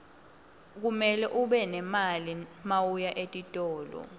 kumele ube nemali mawuya etitolo